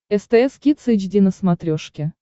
стс кидс эйч ди на смотрешке